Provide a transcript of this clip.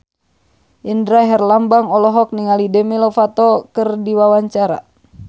Indra Herlambang olohok ningali Demi Lovato keur diwawancara